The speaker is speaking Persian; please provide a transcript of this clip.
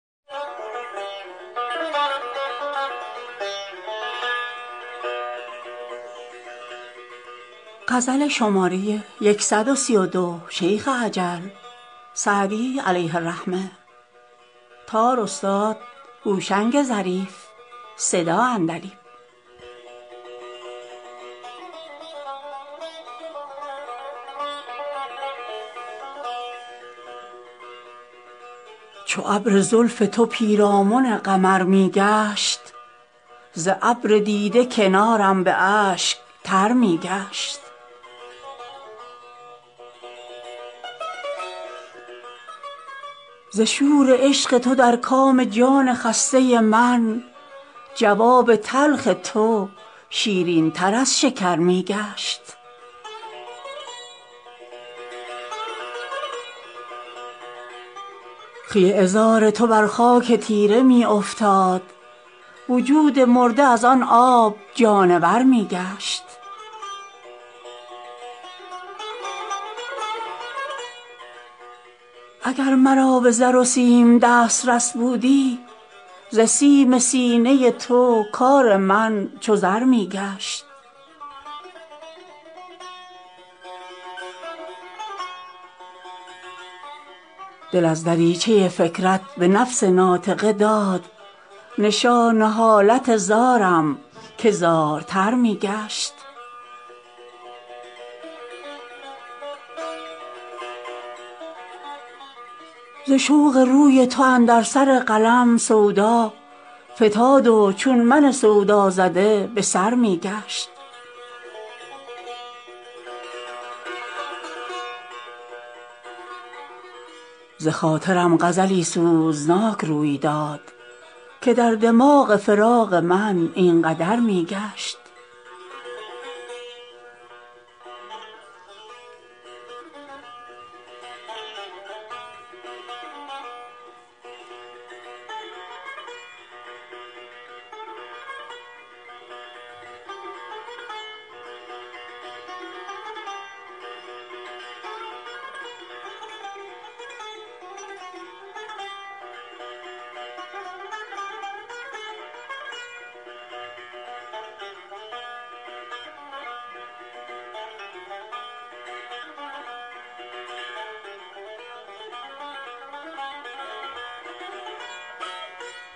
چو ابر زلف تو پیرامن قمر می گشت ز ابر دیده کنارم به اشک تر می گشت ز شور عشق تو در کام جان خسته من جواب تلخ تو شیرین تر از شکر می گشت خوی عذار تو بر خاک تیره می افتاد وجود مرده از آن آب جانور می گشت اگر مرا به زر و سیم دسترس بودی ز سیم سینه تو کار من چو زر می گشت دل از دریچه فکرت به نفس ناطقه داد نشان حالت زارم که زارتر می گشت ز رشک قد تو اندر سر قلم سودا فتاد و چون من سودازده به سر می گشت بخاطرم غزلی سوزناک روی نمود که در دماغ خیال من این قدر می گشت